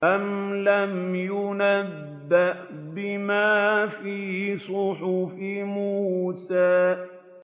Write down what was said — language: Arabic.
أَمْ لَمْ يُنَبَّأْ بِمَا فِي صُحُفِ مُوسَىٰ